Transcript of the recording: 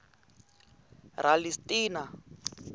ralistina